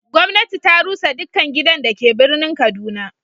gwamnati ta rusa dukkan gidan da ke birnin kaduna.